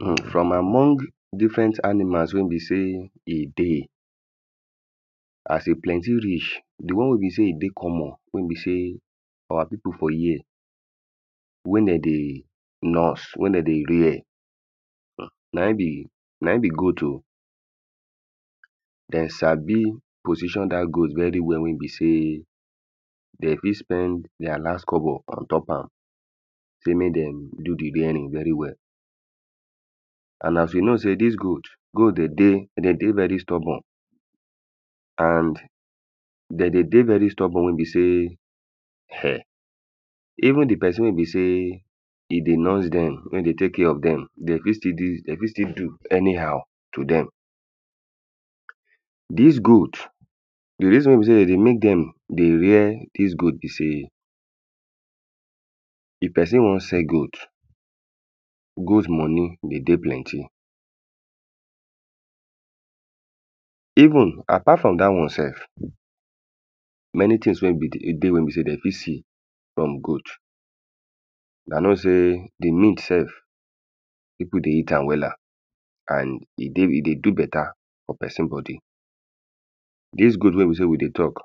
Erm from among different animals wey be sey e dey. As e plenty reach, the one wey be sey e dey common, wey be sey our people for here wey de dey nurse. Wey de dey rare urh na im be na im be goat oh. De sabi position dat goat very well wey be sey De fit spend their last kobo ontop am. Sey make dem do the raring very well. And as you know sey dis goat wey de dey, de dey very stubborn. And de they dey very stubborn we be sey ern even the person wey be sey e dey nurse dem. Wey dey take care of dem. De fit still dis, de fit still do anyhow to dem. Dis goat the reason wey be de dey make dem dey rare dis goat be sey, if person wan sell goat goat money dey dey plenty. Even, apart from dat wan self, many things wey be the e dey wey be sey dem fit see from goat. Huna know sey the meat self people dey eat am wella. And e dey, e dey do better for person body. Dis goat wey be sey we dey talk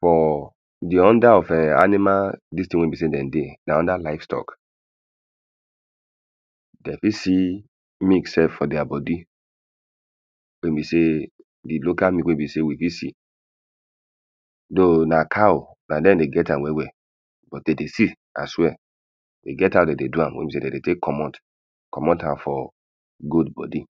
for the under of ern animal dis thing wey be sey dem dey na under livestock. De fit see meat self for their body. Wey be sey the local meat wey be sey you fit see. Though na cow, na dem dey get am well well but de dey sell as well E get how de dey do am wey be sey de dey take comot comot am for goat body